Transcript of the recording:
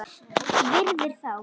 Virðir þá.